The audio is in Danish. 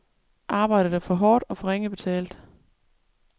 Arbejdet er for hårdt og for ringe betalt.